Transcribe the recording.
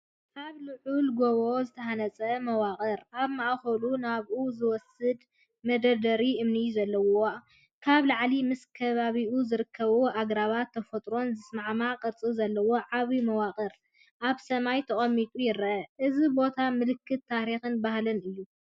ኣብ ልዑል ጎቦ ዝተሃንጸ መዋቕር፡ ኣብ ማእከሉ ናብኡ ዝወስድ መደርደሪ እምኒ ዘለዎ። ካብ ላዕሊ ምስ ከባቢኡ ዝርከቡ ኣግራብን ተፈጥሮን ዝሰማማዕ ቅርጺ ዘለዎ ዓቢ መዋቕር ኣብ ሰማይ ተቐሚጡ ይርአ። እዚ ቦታ ምልክት ታሪኽን ባህልን እዩ።